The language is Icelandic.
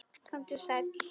Komdu sæll.